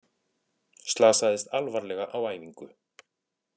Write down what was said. Slasaðist alvarlega á æfingu